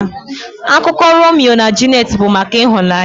Akụkọ Romio na Juliet bụ maka ịhụnanya.